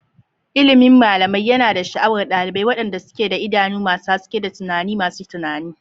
Ilimin malamai yana da sha'awar ɗalibai, waɗanda suke da idanu masu haske da tunani masu tunani.